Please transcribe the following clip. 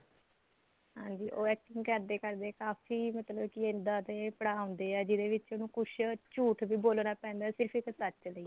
ਹਾਂਜੀ ਉਹ acting ਕਰਦੇ ਕਰਦੇ ਕਾਫ਼ੀ ਮਤਲਬ ਕਿ ਇੱਦਾਂ ਦੇ ਪੜ੍ਹਾ ਆਉਂਦੇ ਐ ਜਿਹਦੇ ਵਿੱਚ ਉਹਨੂੰ ਕੁੱਝ ਝੂਠ ਵੀ ਬੋਲਨਾ ਪੈਂਦਾ ਸਿਰਫ਼ ਇੱਕ ਸੱਚ ਵੀ